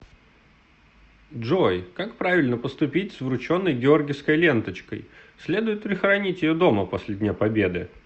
джой как правильно поступить с врученной георгиевской ленточкой следует ли хранить ее дома после дня победы